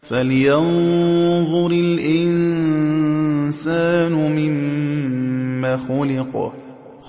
فَلْيَنظُرِ الْإِنسَانُ مِمَّ خُلِقَ